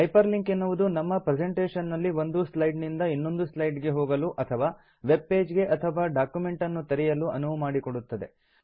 hyper link ಎನ್ನುವುದು ನಮ್ಮ presentation ನಲ್ಲಿ ಒಂದು ಸ್ಲೈಡ್ ನಿಂದ ಇನ್ನೊಂದು ಸ್ಲೈಡ್ ಗೆ ಹೋಗಲು ಅಥವಾ ವೆಬ್ ಪೇಜ್ ಗೆ ಅಥವಾ ಡಾಕ್ಯುಮೆಂಟ್ ಅನ್ನು ತೆರೆಯಲು ಅನುವು ಮಾಡಿಕೊಡುತ್ತದೆ